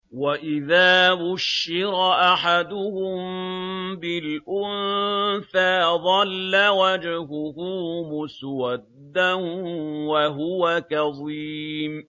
وَإِذَا بُشِّرَ أَحَدُهُم بِالْأُنثَىٰ ظَلَّ وَجْهُهُ مُسْوَدًّا وَهُوَ كَظِيمٌ